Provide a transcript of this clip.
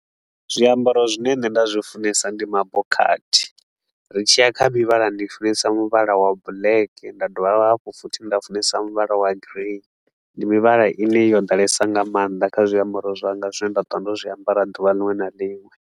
Zwiambaro zwine nṋe nda zwi funesa ndi mabokhathi. Ri tshi ya kha mivhala ndi funesa muvhala wa black nda dovha hafhu futhi nda funesa muvhala wa green, ndi mivhala i ne yo ḓalesa nga maanḓa kha zwiambaro zwanga zwine nda ṱwa ndo zwiambara duvha liṅwe na liṅwe.